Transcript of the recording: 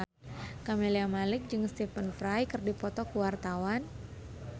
Camelia Malik jeung Stephen Fry keur dipoto ku wartawan